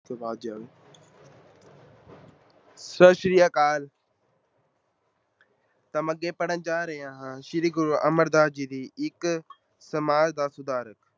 ਸਤਿ ਸ੍ਰੀ ਅਕਾਲ ਤਾਂ ਮੈਂ ਅੱਗੇ ਪੜ੍ਹਨ ਜਾ ਰਿਹਾ ਹਾਂ ਸ੍ਰੀ ਗੁਰੂ ਅਮਰਦਾਸ ਜੀ ਦੀ ਇੱਕ ਸਮਾਜ ਦਾ ਸੁਧਾਰ।